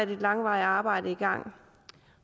langvarigt arbejde i gang